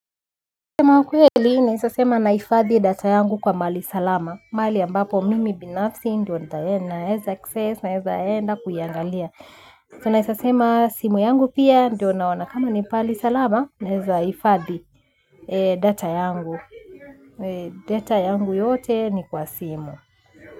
Kusema ukweli naeza sema naifadhi data yangu kwa mahali salama. Mahali ambapo mimi binafsi ndio naeza access na eza enda kuiangalia. Tunaeza sema simu yangu pia ndio naona kama ni pahali salama na eza ifadhi data yangu. Data yangu yote ni kwa simu.